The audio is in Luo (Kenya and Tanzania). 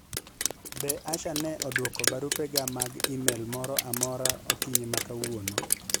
be Asha ne odwoko barupe ga mag email moro amora okinyi ma kawuono